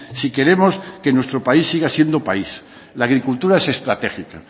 si queremos que nuestro país siga siendo país la agricultura es estratégica